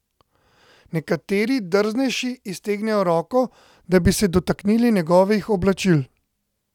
Nekateri, drznejši, iztegnejo roko, da bi se dotaknili njegovih oblačil.